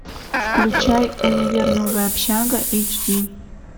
включай универ новая общага эйч ди